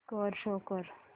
score show कर